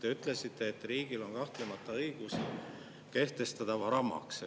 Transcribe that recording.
Te ütlesite, et riigil on kahtlemata õigus kehtestada varamaks.